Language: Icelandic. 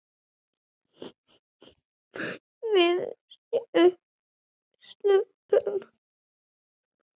Við sjáumst seinna, elsku pabbi.